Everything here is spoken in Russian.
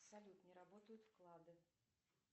салют не работают вклады